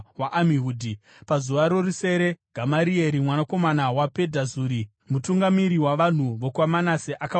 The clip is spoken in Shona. Pazuva rorusere Gamarieri mwanakomana waPedhazuri, mutungamiri wavanhu vokwaManase akauya nechipiriso chake.